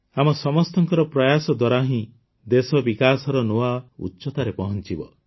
ଆମ ସମସ୍ତଙ୍କର ପ୍ର୍ରୟାସ ଦ୍ୱାରା ହିଁ ଦେଶ ବିକାଶର ନୂଆ ଉଚ୍ଚତାରେ ପହଂଚିବ